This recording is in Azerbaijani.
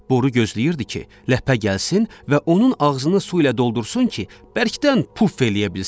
Boru gözləyirdi ki, ləpə gəlsin və onun ağzını su ilə doldursun ki, bərkdən puf eləyə bilsin.